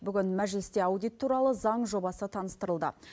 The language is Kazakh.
бүгін мәжілісте аудит туралы заң жобасы таныстырылды